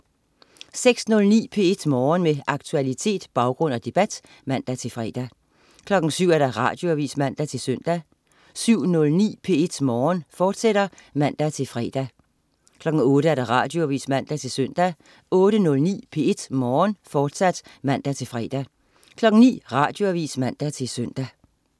06.09 P1 Morgen. Med aktualitet, baggrund og debat (man-fre) 07.00 Radioavis (man-søn) 07.09 P1 Morgen, fortsat (man-fre) 08.00 Radioavis (man-søn) 08.09 P1 Morgen, fortsat (man-fre) 09.00 Radioavis (man-søn)